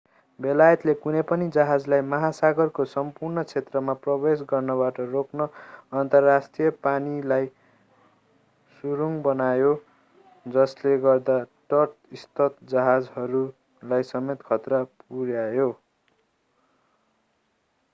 बेलायतले कुनै पनि जहाजलाई महासागरको सम्पूर्ण क्षेत्रमा प्रवेश गर्नबाट रोक्न अन्तर्राष्ट्रिय पानीलाई सुरुङ बनायो जसले गर्दा तटस्थ जहाजहरूलाई समेत खतरा पुर्यायो